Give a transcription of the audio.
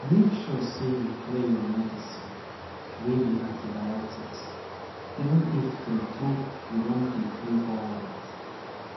make sure say you clear your medicine wey be antibiotics even if tru tru you don dey feel alright